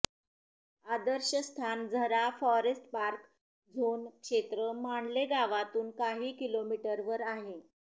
आदर्श स्थान झरा forest park zone क्षेत्र मानले गावातून काही किलोमीटरवर आहे